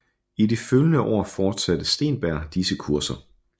I de følgende år fortsatte Steenberg disse kurser